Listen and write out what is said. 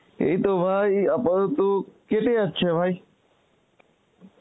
এইতো ভাই আপাতত কেটে যাচ্ছে ভাই.